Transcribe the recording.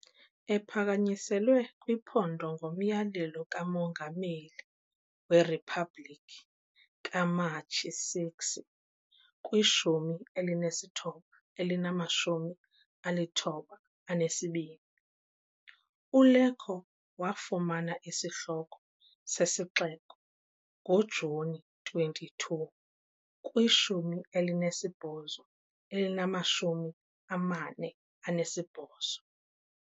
Ephakanyiselwe kwiphondo ngomyalelo kaMongameli weRiphabhlikhi kaMatshi 6, 1992, uLecco wafumana isihloko sesixeko ngoJuni 22, 1848.